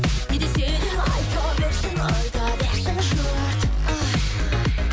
не десе де айта берсін айта берсін жұрт ай